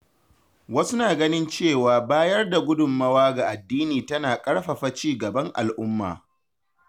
Wasu na ganin cewa bayar da gudunmawa ga addini tana ƙarfafa ci gaban al'umma.